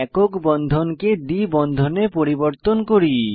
একক বন্ধনকে দ্বি বন্ধনে পরিবর্তন করি